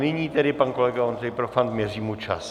Nyní tedy pan kolega Ondřej Profant, měřím mu čas.